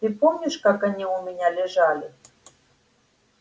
ты помнишь как они у меня лежали